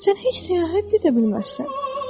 Sən heç səyahət də edə bilməzsən.